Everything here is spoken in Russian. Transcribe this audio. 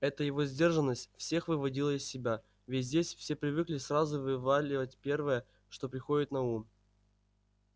эта его сдержанность всех выводила из себя ведь здесь все привыкли сразу вываливать первое что приходит на ум